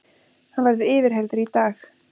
Hann verður yfirheyrður í dag